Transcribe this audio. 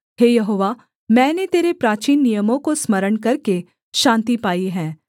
हे यहोवा मैंने तेरे प्राचीन नियमों को स्मरण करके शान्ति पाई है